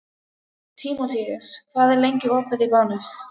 Tímoteus, hvað er lengi opið í Bónus?